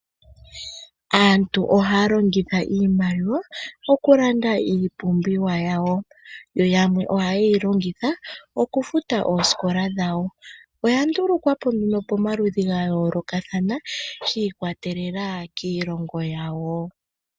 Aantu ohaya longitha iimaliwa okulanda iipumbiwa yawo yoyamwe ohaye yilongitha okufuta oosikola dhawo oya ndulukwapo nee pomaludhi gayoolokathana shi ikwatelela kiilongo yawo.